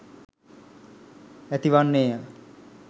ඇති වන්නේ ය.